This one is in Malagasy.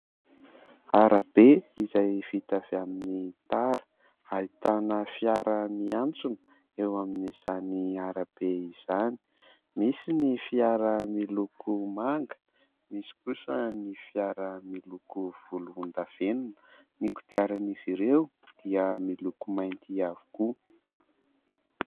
Arabe izay vita avy amin'ny tara, ahitana fiara miantsona eo amin'izany arabe izany. Misy ny fiara miloko manga, misy kosa ny fiara miloko volondavenona, ny kodiaran'izy ireo dia miloko mainty avokoa.